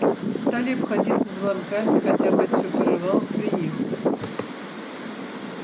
стали обходиться звонками хотя мать всё порывалась приехать